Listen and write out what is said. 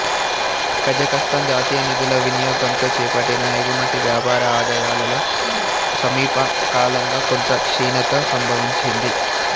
కజకస్తాన్ జాతీయ నిధుల వినియోగంతో చేపట్టిన ఎగుమతి వ్యాపార ఆదాయాలలో సమీపకాలంగా కొంత క్షీణత సంభవించింది